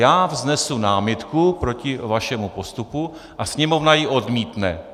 Já vznesu námitku proti vašemu postupu a Sněmovna ji odmítne.